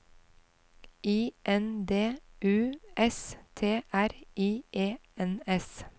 I N D U S T R I E N S